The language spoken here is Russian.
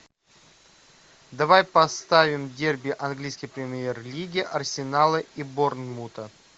давай поставим дерби английской премьер лиги арсенала и борнмута